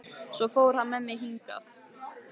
Svo fór hann með mig hingað.